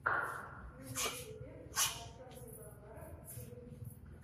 на ютубе артем пивоваров клип